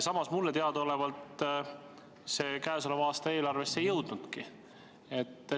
Samas mulle teadaolevalt see plaan käesoleva aasta eelarvesse ei jõudnudki.